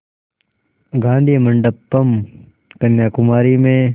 गाधी मंडपम् कन्याकुमारी में